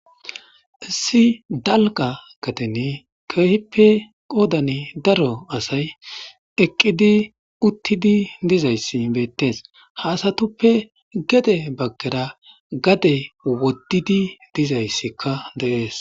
Issi dalga gaden keehipe qodara daro asay eqid utid dizays betes. Ha asatuppe gede bagara gadey wodid dizaysika de'es.